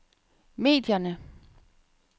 medierne